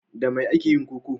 Da me ake yin koko?